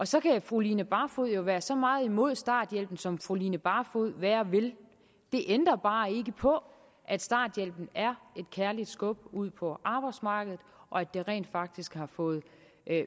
så kan fru line barfod jo være så meget imod starthjælpen som fru line barfod være vil det ændrer bare ikke på at starthjælpen er et kærligt skub ud på arbejdsmarkedet og at den rent faktisk har fået